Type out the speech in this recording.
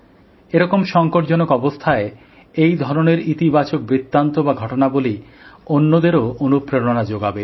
এরকম সংকটজনক অবস্থায় এই ধরনের ইতিবাচক বৃত্তান্ত বা ঘটনাবলী অন্যদেরও অনুপ্রেরণা যোগাবে